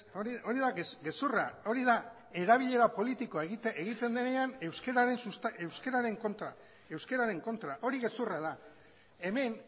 hori da gezurra hori da erabilera politikoa egiten denean euskararen kontra hori gezurra da hemen